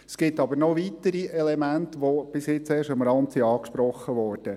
Es geht aber noch weitere Elemente, die bisher erst am Rande angesprochen wurden.